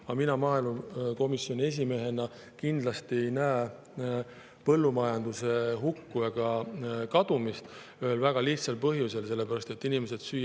Aga mina maaelukomisjoni esimehena kindlasti ei näe põllumajanduse hukku ega kadumist, ühel väga lihtsal põhjusel: süüa tahavad inimesed alati.